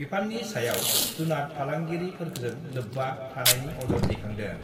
बिफाननि सायाव जुनात फालांगिरिफोरजों लोब्बा थानायनि अजद दैखांदों।